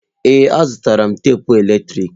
Ee, azụtara m tapụ eletrik.